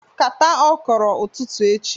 Kata okro ututu echi